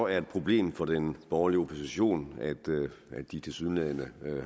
er et problem for den borgerlige opposition at de tilsyneladende